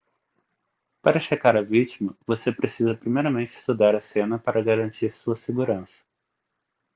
para checar a vítima você precisa primeiramente estudar a cena para garantir sua segurança